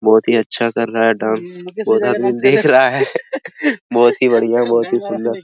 बहोत ही अच्छा कर रहा है डांस बहोत आदमी देख रहा है बहोत ही बढ़िया बहोत ही सुंदर।